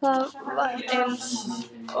Það var eins